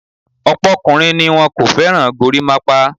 Ọ̀pọ̀ ọkùnrin ni wọn kò fẹ́ràn gorímápá.